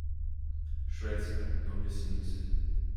Švedska, kdo bi si mislil?